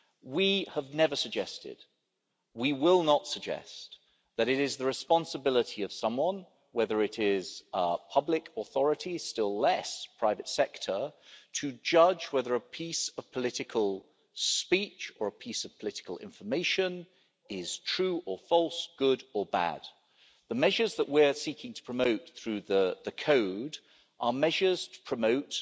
We have never suggested, we will not suggest, that it is the responsibility of someone, whether it is public authorities, still less private sector, to judge whether a piece of political speech or a piece of political information is true or false, good or bad. The measures that we are seeking to promote through the Code are measures to promote